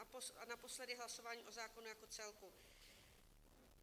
A naposledy hlasování o zákonu jako celku.